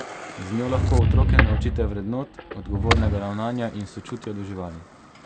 Z njo lahko otroke naučite vrednot, odgovornega ravnanja in sočutja do živali.